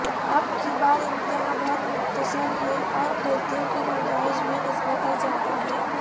اب کی بار امتحاں بہت مختصر ہے اور غلطیوں کی گنجائش بھی نسبتا زیادہ ہے